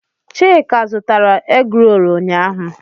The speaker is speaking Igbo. Chika zụtara egroolu ụnyaahụ.